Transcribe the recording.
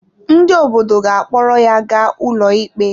Ndị obodo ga-akpọrọ ya ga ụlọikpe.